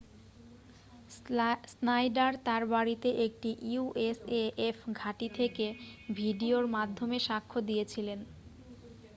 Snyder তার বাড়িতে একটি usaf ঘাঁটি থেকে ভিডিওর মাধ্যমে সাক্ষ্য দিয়েছিলেন